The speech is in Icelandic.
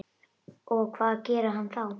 Og hvað gerir hann þá?